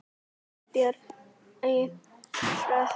Eldborg í Hörpu.